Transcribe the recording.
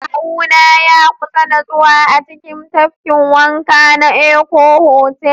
Kawuna ya kusa nutsewa a cikin tafkin wanka na Eko Hotel